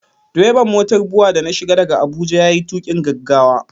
Direban motar BUA da na shiga daga Abuja ya yi tuƙin gaggawa.